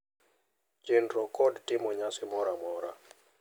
Chenro kod timo nyasi moro amora,